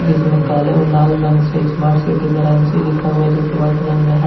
इसमें काले और लाल रंग से स्मार्ट सिटी वाराणसी लिखा हुआ है जो की वाइट रंग में है।